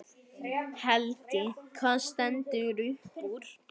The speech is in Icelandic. Helgi: Hvað stendur upp úr?